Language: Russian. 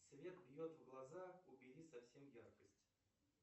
свет бьет в глаза убери совсем яркость